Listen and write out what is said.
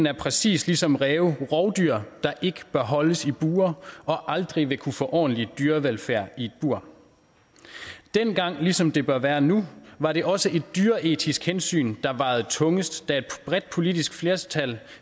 er præcis ligesom ræve rovdyr der ikke bør holdes i bure og aldrig vil kunne få ordentlig dyrevelfærd i et bur dengang ligesom det bør være nu var det også et dyreetisk hensyn der vejede tungest da et bredt politisk flertal